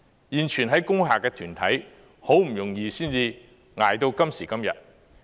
現存在工廈的團體，好不容易才捱到今時今日。